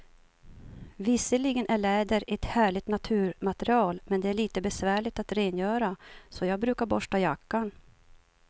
Visserligen är läder ett härligt naturmaterial, men det är lite besvärligt att rengöra, så jag brukar borsta jackan.